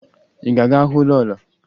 Ị ga-aga hụ lọọlọ?